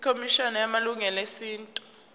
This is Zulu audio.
ikhomishana yamalungelo esintu